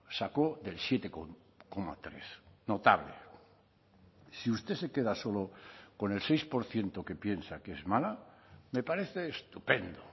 sacó del siete coma tres notable si usted se queda solo con el seis por ciento que piensa que es mala me parece estupendo